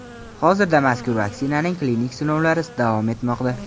Hozirda mazkur vaksinaning klinik sinovlari davom etmoqda.